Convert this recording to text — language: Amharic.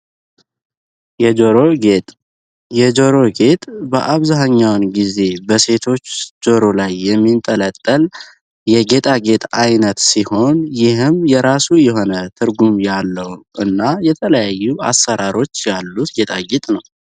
የጆሮ ጌጥ በአብዛሕኛውን ጊዜ በሴቶች ዞሮ ላይ የሚንጠለጠል የጌጣ ጌጥ ዓይነት ሲሆን ይህም የራሱ ይሆነ ትርጉም ያለው እና የተለያዩ አሠራሮች ያሉት ጌጣ ጌጥ ነው።